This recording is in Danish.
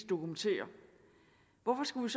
dokumenterer hvorfor skulle